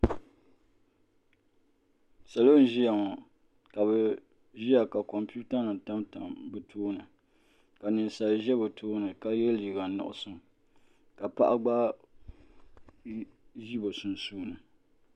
Salo n-ʒiya ŋɔ ka bɛ ʒiya ka kompiwutanima tamtam bɛ tooni ka ninsali ʒe bɛ tooni ka ye liiga nuɣuso ka paɣa gba ʒi bɛ sunsuuni.